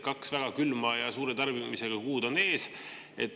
Kaks väga külma ja suure tarbimisega kuud on ees.